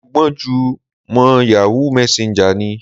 Mo gbọ́n jú mọ Yahoo Messenger ni.